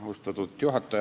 Austatud juhataja!